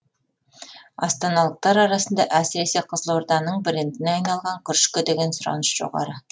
астаналықтар арасында әсіресе қызылорданың брендіне айналған күрішке деген сұраныс жоғары